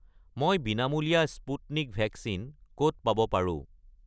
মই বিনামূলীয়া Sputnik vaccine ক'ত পাব পাৰোঁ?